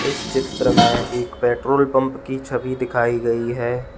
इस चित्र में एक पेट्रोल पंप की छवि दिखाई गई है।